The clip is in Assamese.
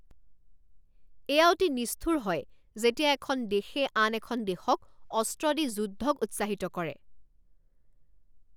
এয়া অতি নিষ্ঠুৰ হয় যেতিয়া এখন দেশে আন এখন দেশক অস্ত্ৰ দি যুদ্ধক উৎসাহিত কৰে।